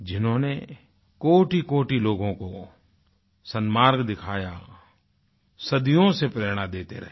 जिन्होंने कोटिकोटि लोगों को सन्मार्ग दिखाया सदियों से प्रेरणा देते रहें